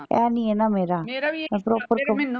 ਇਹ ਨਹੀਂ ਹੈ ਨਾ ਮੇਰਾ ਮੇਰਾ ਵੀ ਇਹ ਮੈਂ proper